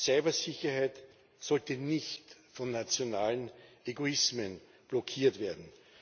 Cybersicherheit sollte nicht von nationalen Egoismen blockiert werden.